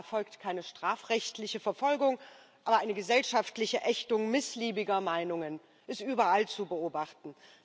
Zwar erfolgt keine strafrechtliche Verfolgung, aber eine gesellschaftliche Ächtung missliebiger Meinungen ist überall zu beobachten.